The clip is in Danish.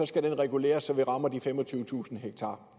skal reguleres så vi rammer de femogtyvetusind ha